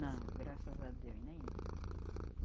Não, graças a Deus, nenhum.